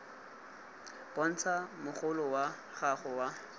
bontsha mogolo wa gago wa